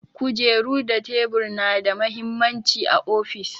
Kujeru da tebur na da mahimmanci a ofis.